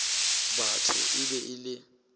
batho e be e le